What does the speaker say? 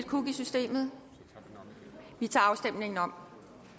kuk i systemet vi tager afstemningen om